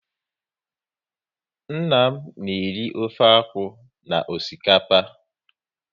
Nna m na eri ofe akwụ na osikapa